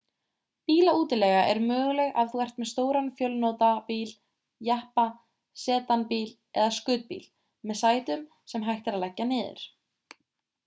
bílaútilega er möguleg ef þú ert með stóran fjölnotabíl jeppa sedan-bíl eða skutbíl með sætum sem hægt er að leggja niður